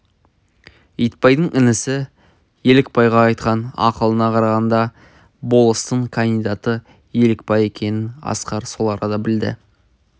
итбайдың інісі елікбайға айтқан ақылына қарағанда болыстың кандидаты елікбай екенін асқар сол арада білді